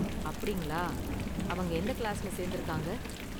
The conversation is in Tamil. அப்படிங்களா, அவங்க எந்த கிளாஸ்ல சேர்ந்திருக்காங்க?